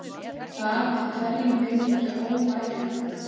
Það er hverjum Grikkja óbærilegt.